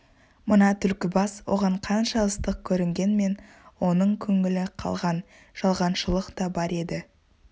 мына түлкібас оған қанша ыстық көрінгенмен оның көңілі қалған жалғаншылық та бар еді